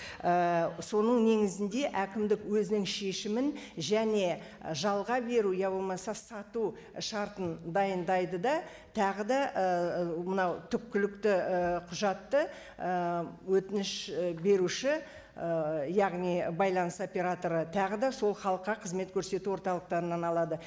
ііі соның негізінде әкімдік өзінің шешімін және жалға беру иә болмаса сату шартын дайындайды да тағы да ііі мынау түпкілікті і құжатты ііі өтініш і беруші ііі яғни байланыс операторы тағы да сол халыққа қызмет көрсету орталықтарынан алады